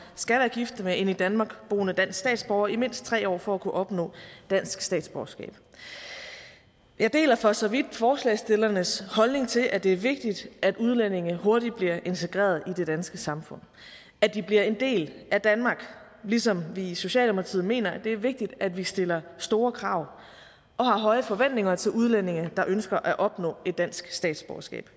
skal være gift med en i danmark boende dansk statsborger i mindst tre år for at kunne opnå dansk statsborgerskab jeg deler for så vidt forslagsstillernes holdning til at det er vigtigt at udlændinge hurtigt bliver integreret i det danske samfund at de bliver en del af danmark ligesom vi i socialdemokratiet mener det er vigtigt at vi stiller store krav og har høje forventninger til udlændinge der ønsker at opnå dansk statsborgerskab